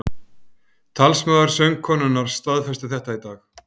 Talsmaður söngkonunnar staðfesti þetta í dag